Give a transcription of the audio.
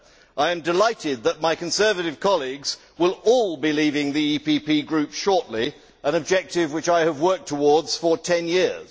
I am delighted that my Conservative colleagues will all be leaving the EPP Group shortly an objective which I have worked towards for 10 years.